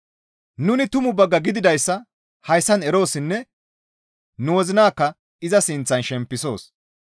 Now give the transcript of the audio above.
Nuni tumu bagga gididayssa hayssan eroossinne nu wozinakka iza sinththan shempisoos.